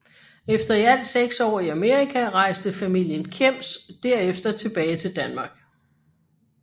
Efter i alt seks år i Amerika rejste familien Kjems derefter tilbage til Danmark